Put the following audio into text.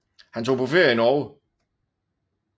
Han tog på ferie i Norge